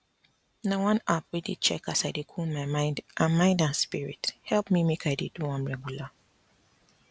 na one app wey dey check as i dey cool my mind and mind and spirit help me make i dey do am regular